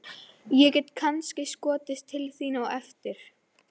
Ég get kannski skotist til þín á eftir.